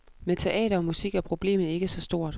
Med teater og musik er problemet ikke så stort.